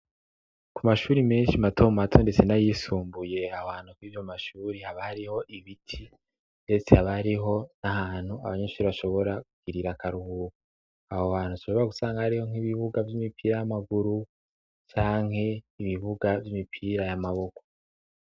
ku mashure menshi mato mato ndetse nayisumbuye ahohantu yayo mashure haba hariho ibiti ndetse haba ariho n'ahantu abanyenshure bashobora kugirira akaruhuko aho hantu bashobora gusanga hariho nk'ibibuga vy'imipira y'amaguru canke ibibuga vy'imipira y'amaboko